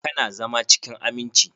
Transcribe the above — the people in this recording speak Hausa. Ka na zama cikin aminci?